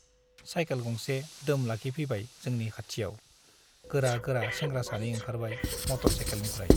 Cycle गंसे दोम लाखिफैबाय जोंनि खाथियाव गोरा गोरा सेंग्रा सानै ओंखारबाय मटर साइकेलनिफ्राइ ।